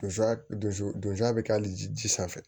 Donso don a bɛ k'ale ji sanfɛ